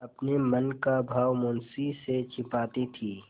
अपने मन का भाव मुंशी से छिपाती थी